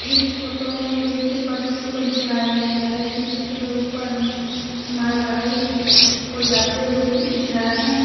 इस फोटो में रेल की पटरी को दिखाया गया है जिसके ऊपर में मालगाड़ी को जाते हुए दिख रहा है।